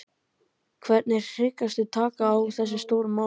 Hvernig hyggstu taka á þessum stóru málum?